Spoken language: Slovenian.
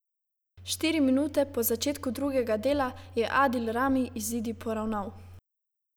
Štiri minute po začetku drugega dela je Adil Rami izidi poravnal.